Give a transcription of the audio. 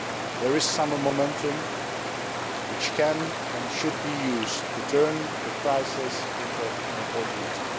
There is some momentum which can, and should, be used to turn the crisis into opportunity.